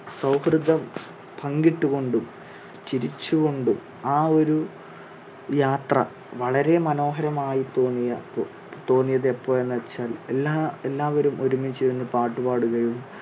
സൗഹൃദം പങ്കിട്ടു കൊണ്ടും ചിരിച്ചു കൊണ്ടും ആ ഒരു യാത്ര വളരെ മനോഹരം ആയി തോന്നിയ~ത് തോന്നിയത് എപ്പോഴാന്ന് വെച്ചാൽ എല്ലാ~എല്ലാവരും ഒരുമിച്ച് ഇരുന്ന് പാട്ട് പാടുകയും